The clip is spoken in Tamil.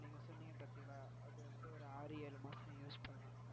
நீங்க சொன்னீங்க பாத்தீங்களா அது வந்து ஒரு ஆறு ஏழு மாசம் use பண்ணலாம்.